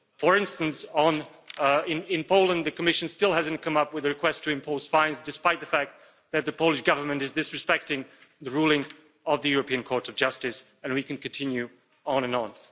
For instance, in Poland, the Commission still hasn't come up with a request to impose fines, despite the fact that the Polish Government is disrespecting the ruling of the European Court of Justice, and we can continue on and on.